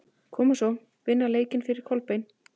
Koma svo, vinna leikinn fyrir Kolbein!